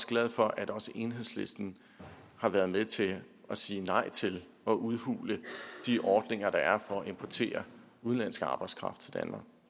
glad for at også enhedslisten har været med til at sige nej til at udhule de ordninger der er for at importere udenlandsk arbejdskraft til danmark